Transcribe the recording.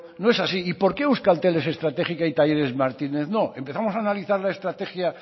no es así y por qué euskaltel es estratégica y talleres martínez no empezamos a analizar la estrategia